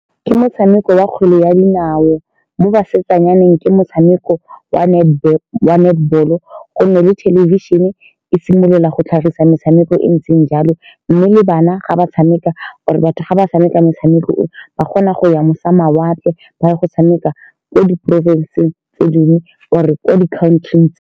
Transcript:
Ke motshameko wa kgwele ya dinao mo basetsanyaneng. Ke motshameko wa netball-o, wa netball-o, ka gonne le thelebišhene e simolola go tlhagisa metshameko e e ntseng jalo, mme le bana ga ba tshameka, or-e batho ga ba tshameka, motshameko o, ba kgona go ya mawatle, ba ya go tshameka ko diporofenseng tse dingwe or-e ko di-country-ing.